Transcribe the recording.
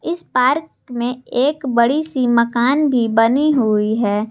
इस पार्क में एक बड़ी सी मकान भी बनी हुई है।